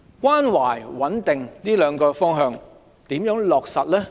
關懷和穩定這兩個方向如何落實呢？